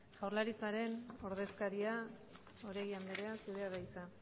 jaurlaritzaren ordezkaria oregi anderea zurea da hitza